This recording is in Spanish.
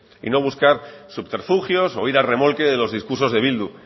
y no buscar subterfugios o ir a remolque de los discursos de bildu